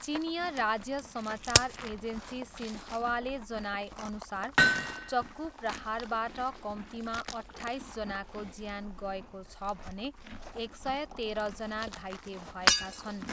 चिनियाँ राज्य समाचार एजेन्सी सिन्ह्वाले जनाएअनुसार, चक्कु प्रहारबाट कम्तीमा अट्ठाइसजनाको ज्यान गएको छ भने एक सय तेह्रजना घाइते भएका छन्।